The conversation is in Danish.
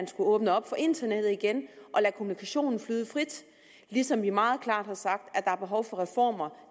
skulle åbne op for internettet igen og lade kommunikationen flyde frit ligesom vi meget klart har sagt at der er behov for reformer